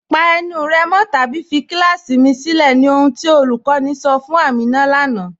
Pa ènù rẹ́ mọ̀ tàbí fí kílàsí mì sìlẹ̀, ní ohun tí olúkọ̀ní sọ̀ fún Àmínà lánà.